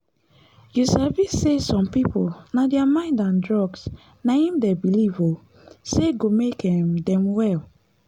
you sabi say some people na thier mind and drugs na him them believe um say go make um them well.